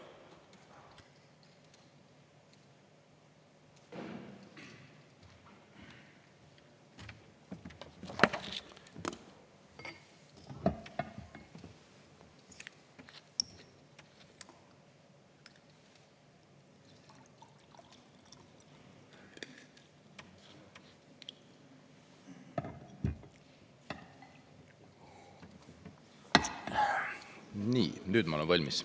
Nii, nüüd ma olen valmis.